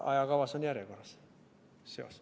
Ajakavas on järjekorras seos.